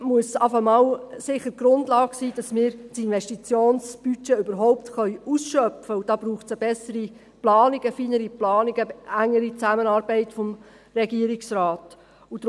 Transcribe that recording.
Deshalb muss sicher einmal die Grundlage sein, dass wir das Investitionsbudget überhaupt ausschöpfen können, und dazu braucht es eine bessere Planung, eine feinere Planung, eine engere Zusammenarbeit des Regierungsrates.